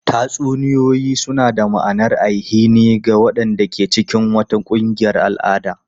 Tatsuniyoyi suna ba da ma'anar ainihi ga waɗanda ke cikin wata ƙungiyar al'ada.